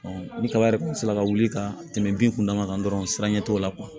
ni kaba yɛrɛ kun sera ka wuli ka tɛmɛ bin kunda kan dɔrɔn siran ɲɛ t'o la